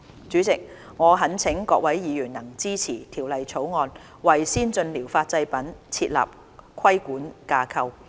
主席，我懇請各位議員支持《條例草案》，為先進療法製品設立規管架構。